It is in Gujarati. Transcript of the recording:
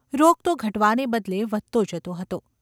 રોગ તો ઘટવાને બદલે વધતો જતો હતો.